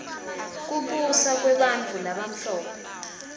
kubusa kwebantfu labamhlope